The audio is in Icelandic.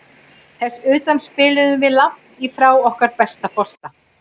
Þess utan spiluðum við langt í frá okkar besta bolta.